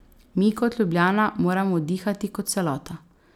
Mi kot Ljubljana, moramo dihati kot celota.